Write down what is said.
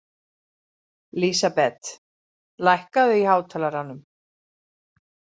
Lísabet, lækkaðu í hátalaranum.